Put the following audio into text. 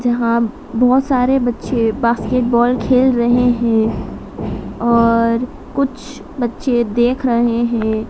यहां बहुत सारे बच्चे बास्केटबॉल खेल रहे हैं और कुछ बच्चे देख रहे हैं।